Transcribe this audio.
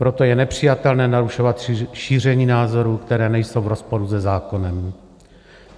Proto je nepřijatelné narušovat šíření názorů, které nejsou v rozporu se zákonem.